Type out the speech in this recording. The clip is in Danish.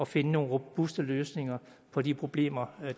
finde nogle robuste løsninger på de problemer